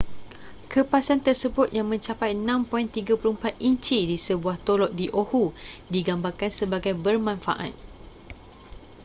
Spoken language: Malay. kerpasan tersebut yang mencapai 6.34 inci di sebuah tolok di oahu digambarkan sebagai bermanfaaat